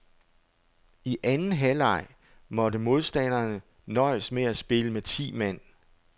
I anden halvleg måtte modstanderne nøjes med at spille med ti mand.